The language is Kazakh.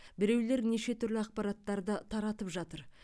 біреулер неше түрлі ақпараттарды таратып жатыр